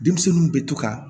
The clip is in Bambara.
Denmisɛnninw bɛ to ka